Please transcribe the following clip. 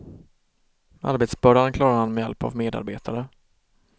Arbetsbördan klarar han med hjälp av medarbetare.